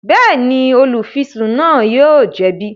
Bẹẹni, olufisun náà yóò jẹbi